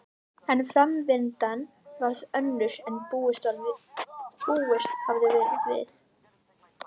En framvindan varð önnur en búist hafði verið við.